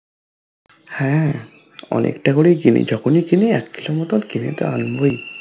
হ্যা অনেকটা করেই কিনি যখনেই কিনি এক kg মতোন কিনে তো আনবই